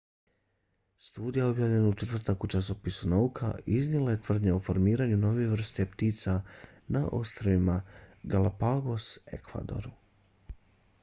studija objavljena u četvrtak u časopisu nauka iznijela je tvrdnje o formiranju nove vrste ptica na ostrvima galapagos ekvadoru